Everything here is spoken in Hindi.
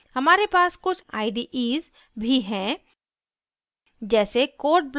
हमारे पास कुछ ides भी हैं जैसे code blocks और geany